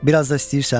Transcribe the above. Biraz da istəyirsən?